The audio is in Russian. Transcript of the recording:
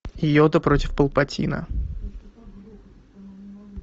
йода против палпатина